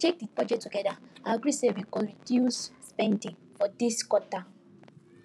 we check the budget together and agree say we go reduce spending for this quarter